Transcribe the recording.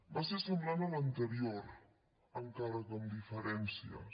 va ser semblant a l’anterior encara que amb diferències